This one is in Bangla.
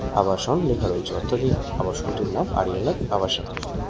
আবাসন লেখা রয়েছে অর্থাৎ এই আবাসন টির নাম আরিয়ানক আবাসন।